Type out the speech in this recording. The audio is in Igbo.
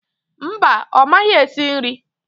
Mba, ọ maghị esi nri